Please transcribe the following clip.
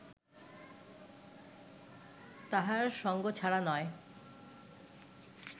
তাহার সঙ্গছাড়া নয়